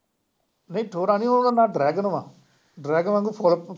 ਨਹੀਂ ਠੋਰਾਂ ਨਹੀਂ ਉਹਦਾ ਨਾਮ ਡਰੈਗਨ ਵਾ, ਡਰੈਗਨ ਵਾਂਗੂੰ